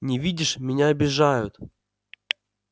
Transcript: не видишь меня обижают